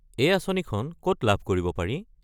এই আঁচনিখন ক'ত লাভ কৰিব পাৰি?